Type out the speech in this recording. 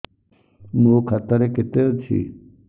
ମୋ ଖାତା ରେ କେତେ ଅଛି